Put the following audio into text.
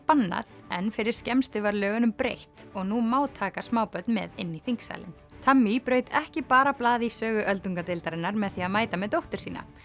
bannað en fyrir skemmstu var lögunum breytt og nú má taka smábörn með inn í þingsalinn braut ekki bara blað í sögu öldungadeildarinnar með því að mæta með dóttur sína